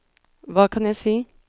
hva kan jeg si